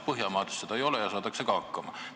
Põhjamaades seda ei ole, saadakse ilma hakkama.